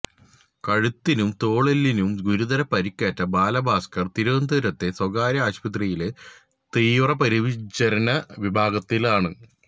കഴുത്തിനും തോളെല്ലിനും ഗുരുതര പരുക്കേറ്റ ബാലഭാസ്കര് തിരുവനന്തപുരത്തെ സ്വകാര്യ ആശുപത്രിയിലെ തീവ്രപരിചരണ വിഭാഗത്തിലാണ്